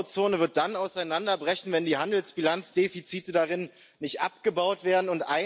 Die Euro Zone wird dann auseinanderbrechen, wenn die Handelsbilanzdefizite darin nicht abgebaut werden.